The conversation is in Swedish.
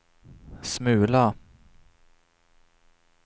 smula